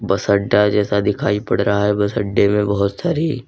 बस अड्डा जैसा दिखाई पड़ रहा है बस अड्डे में बहुत सारी--